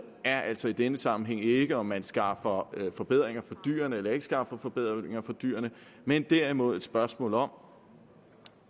er altså i denne sammenhæng ikke om man skaffer forbedringer for dyrene eller ikke skaffer forbedringer for dyrene men derimod et spørgsmål om